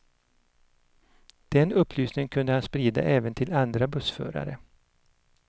Den upplysningen kunde han sprida även till andra bussförare.